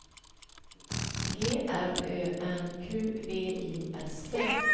G R Ö N Q V I S T